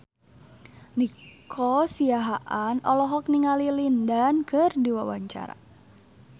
Nico Siahaan olohok ningali Lin Dan keur diwawancara